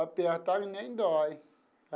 Apertar nem dói.